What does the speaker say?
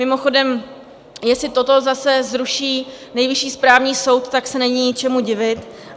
Mimochodem, jestli toto zase zruší Nejvyšší správní soud, tak se není čemu divit.